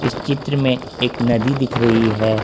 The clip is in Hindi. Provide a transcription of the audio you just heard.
चित्र में एक नदी दिख रही है।